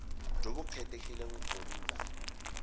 jo bo kgethegileng go nna